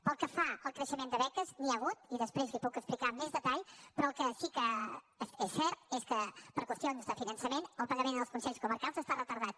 pel que fa al creixement de beques n’hi ha hagut i després li ho puc explicar amb més detall però el que sí que és cert és que per qüestions de finançament el pagament als consells comarcals està retardat